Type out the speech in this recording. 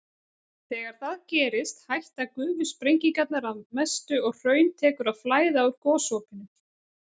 Þegar það gerist hætta gufusprengingarnar að mestu og hraun tekur að flæða úr gosopinu.